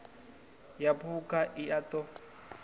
ya phukha i a ṱo